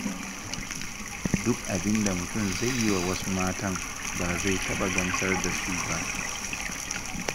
Duk abinda mutum zai yi wa wasu matan, ba zai taɓa gamsar da su ba.